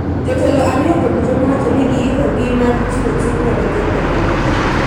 jotelo ariyogo duto nowacho ni giikogi mar chiwo chikno ne Ker Kenyatta.